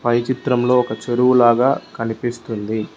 పై చిత్రంలో ఒక చెరువు లాగా కనిపిస్తుంది.